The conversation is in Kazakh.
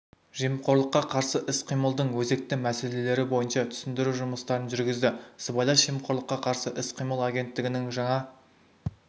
жемқорлыққа қарсы іс-қимылдың өзекті мәселелері бойынша түсіндіру жұмыстарын жүргізді сыбайлас жемқорлыққа қарсы іс-қимыл агенттігінің жаңа